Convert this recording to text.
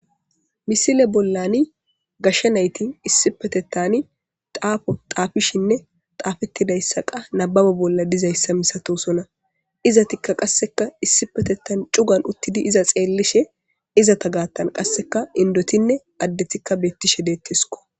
Misile bollani gashsha nayti issipetettani xaafo xaafishinne taafettidayssaqa nababo bolla dizayssa misatosona iza tikka qasseka issipetettan cugan uttidi iza xeellishe izata gaattan qasseka indotinne addethikka beettishe deettisko